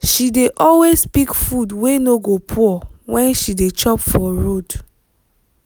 she dey always pick food wey no go pour when she dey chop for road.